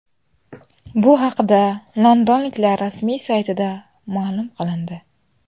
Bu haqida londonliklar rasmiy saytida ma’lum qilindi .